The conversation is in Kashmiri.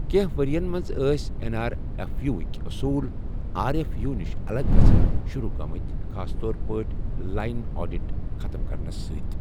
کینٛہہ ورۍ یَن منٛز ٲسۍ این آر ایف یو وٕک اوٚصوٗل آر ایف یو نِش الگ گٔژھن شروع گٔمٕتۍ، خاص طور پٲٹھۍ لائن آڈِٹ ختم کرنَس سۭتۍ۔